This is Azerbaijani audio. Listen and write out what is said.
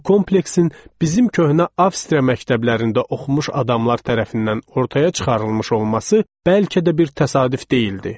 Bu kompleksin bizim köhnə Avstriya məktəblərində oxumuş adamlar tərəfindən ortaya çıxarılmış olması bəlkə də bir təsadüf deyildi.